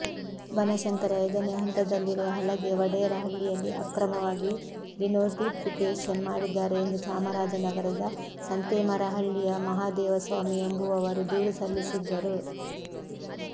ಬನಶಂಕರಿ ಐದನೇ ಹಂತದಲ್ಲಿರುವ ಹಲಗೆ ವಡೇರಹಳ್ಳಿಯಲ್ಲಿ ಅಕ್ರಮವಾಗಿ ಡಿನೋಟಿಫಿಕೇಷನ್ ಮಾಡಿದ್ದಾರೆ ಎಂದು ಚಾಮರಾಜನಗರದ ಸಂತೇಮರಹಳ್ಳಿಯ ಮಹದೇವಸ್ವಾಮಿ ಎಂಬುವವರು ದೂರು ಸಲ್ಲಿಸಿದ್ದರು